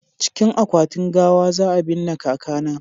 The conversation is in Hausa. cikin akwatin gawa za a binne kaka na